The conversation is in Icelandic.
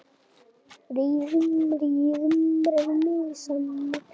Reiður út í allt.